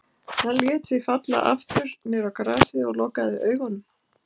Hann lét sig falla aftur niður á grasið og lokaði augunum.